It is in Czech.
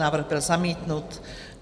Návrh byl zamítnut.